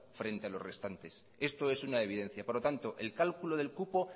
frente a los restantes esto es una evidencia por lo tanto el cálculo del cupo